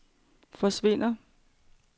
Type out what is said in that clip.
forsvinder